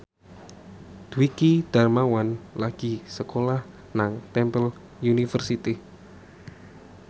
Dwiki Darmawan lagi sekolah nang Temple University